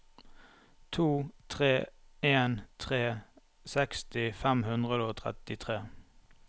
to tre en tre seksti fem hundre og trettitre